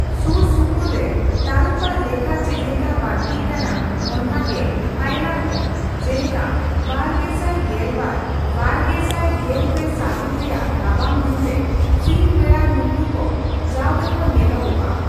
ᱥᱩᱨ ᱥᱩᱯᱩᱨ ᱨᱮ ᱛᱟᱨᱩᱯ ᱟᱜ ᱞᱮᱠᱷᱟ ᱪᱮᱫ ᱞᱮᱠᱟ ᱵᱟᱹᱲᱛᱤᱜ ᱠᱟᱱᱟ, ᱚᱱᱠᱟᱜᱮ ᱦᱟᱭᱮᱱᱟ ᱦᱚᱸ, ᱡᱮᱞᱮᱠᱟ ᱵᱟᱨᱜᱮᱥᱟᱭ ᱜᱮᱞᱵᱟᱨᱼᱵᱟᱨᱜᱮᱥᱟᱭ ᱜᱮᱞᱯᱮ ᱥᱟᱹᱦᱤᱛ ᱨᱮᱭᱟᱜ ᱨᱟᱵᱟᱝ ᱫᱤᱱᱨᱮ ᱥᱤᱧ ᱵᱮᱲᱟ ᱱᱩᱠᱩ ᱠᱚ ᱡᱟᱣᱜᱮ ᱠᱚ ᱧᱮᱞᱚᱜᱼᱟ ᱾